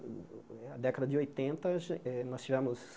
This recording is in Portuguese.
Década de oitenta, a gen eh nós tivemos